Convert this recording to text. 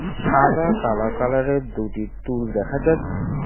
সাদা কালা কালারের দুটি টুল দেখা যাচ্ছে।